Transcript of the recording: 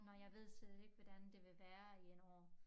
Når jeg ved slet ikke hvordan det vil være i 1 år